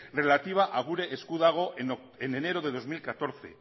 relativa a gure esku dago en enero de dos mil catorce